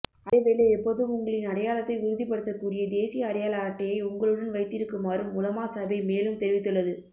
அதேவேளை எப்போதும் உங்களின் அடையாளத்தை உறுதிப்படுத்தக்கூடிய தேசிய அடையாள அட்டையை உங்களுடன் வைத்திருக்குமாறும் உலமா சபை மேலும் தெரிவித்துள்ளது